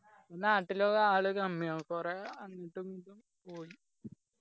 നാട്ടിലൊക്കെ ആള് കമ്മിയാണ് കൊറേ അങ്ങോട്ടും ഇങ്ങോട്ടും പോയി